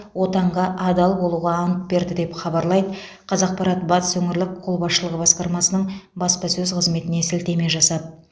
отанға адал болуға ант берді деп хабарлайды қазақпарат батыс өңірлік қолбасшылығы басқармасының баспасөз қызметіне сілтеме жасап